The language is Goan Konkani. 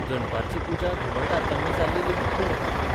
दनपारची पुजा घुमट आरत्यांनी जाल्ली लेगीत पळोवंक मेळटा.